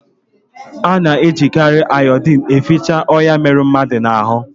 Ana ejikari iodine eficha onya mere mmadu na hu